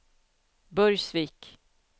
Burgsvik